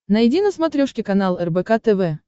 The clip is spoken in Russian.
найди на смотрешке канал рбк тв